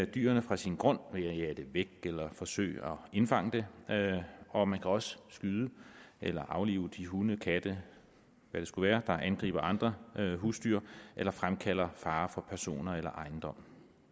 dyrene fra sin grund ved at jage det væk eller forsøge at indfange det og man kan også skyde eller aflive de hunde katte hvad det skulle være angriber andre husdyr eller fremkalder fare for personer eller ejendom